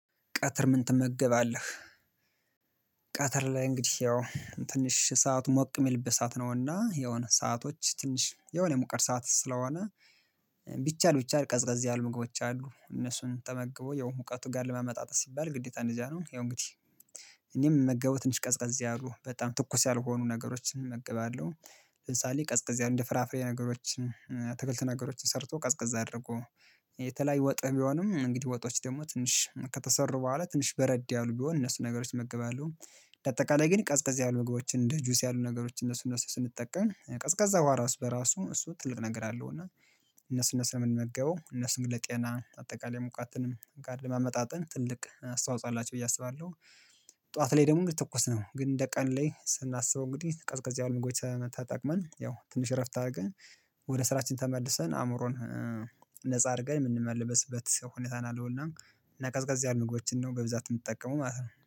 ቀትር ምን ትመገባለህ ቀትር ላይ እንግዲህ ያው ትንሽ ሰዓት ሞቅ የሚልበ ሰዓት ነውና የሆነ ሰአቶች ትንሽ የሆነ የሙቀት ሰዓት ስለሆነ ቢቻል ቢቻል ቀዝቀዝ ያህል ምግቦች አሉ እነሱን ተመግቦ ያው ሙቀቱ ጋር ለማመጣጠን ሲባል ግዴታ እንደዚያ ነው ያው እንግዲህ እኔም የምመገበው ትንሽ ቀዝቀዝ ያሉ በጣም ትኩስ ያልሆኑ ነገሮችን እመግባለሁ ለምሳሌ ቀዝቀዝ ያሉ እንደ ፍራፍሬ ነገሮችን አትክልት ነገሮችን ሰርቶ ቀዝቀዝ አድርጎ የተለያየ ወጥ ቢሆንም እንግዲህ ወጦች ደግሞ ትንሽ ከተሰሩ በኋላ ትንሽ በረድ ያሉ ቢሆን እነሱ ነገሮች እመገባለው እንደ አጠቃላይ ግን ቀዝቀዝ ያሉ ምግቦችን እንደ ጁስ ያሉ ነገሮችን እነሱ እነሱን ስንጠቀም ቀዝቃዛ ውሃ ራሱ በራሱ እሱ ትልቅ ነገር አለው እና እነሱ እነሱን የምንመገበው እነሱን ለጤና አጠቃላይ ሙቀትንም ጋር ለማመጣጠን ትልቅ አስተዋጽኦ አላቸው ብዬ አስባለሁ ጠዋት ላይ ደግሞ እንደ ትኩስ ነው ግን እንደ ቀን ላይ ስናስበው እንግዲህ ቀዝቀዝ ያሉ ምግቦች ተጠቅመን ያው ትንሽ እረፍት አድርገን ወደ ስራችን ተመልሰን አእምሮን ነፃ አድርገን የምንመለስበት ሰው ሁኔታን ያለውና እና ቀዝቀዝ ያሉ ምግቦችን ነው በብዛት የምትጠቀመው ማለት ነው።